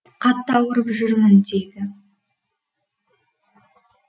қатты ауырып жүрмін дейді